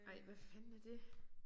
Ej hvad fanden er det?